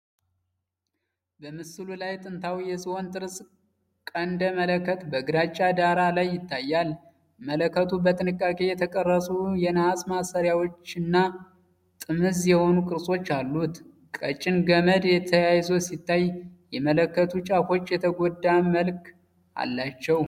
በምስሉ ላይ ጥንታዊ የዝሆን ጥርስ ቀንደ መለከት በግራጫ ዳራ ላይ ይታያል። መለከቱ በጥንቃቄ የተቀረጹ የነሐስ ማሰሪያዎች እና ጥምዝ የሆኑ ቅርጾች አሉት። ቀጭን ገመድ ተያይዞ ሲታይ፣ የመለከቱ ጫፎች የተጎዳ መልክ አላቸው።